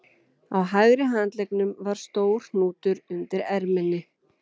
Á hægri handleggnum var stór hnútur undir erminni